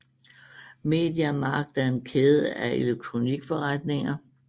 Media Markt er en kæde af elektronikforretninger